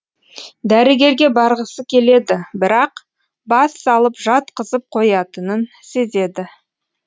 дәрігерге барғысы келеді бірақ бас салып жатқызып қоятынын сезеді